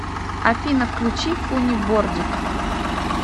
афина включи фунни бордик